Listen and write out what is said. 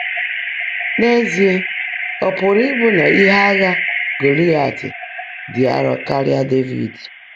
N’ézíe, ọ́ pụ́rụ́ íbụ́ ná íhe ághá Gọ́láịàt ḍị́ árọ́ kárị́á Dévid!